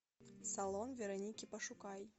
салон вероники пошукай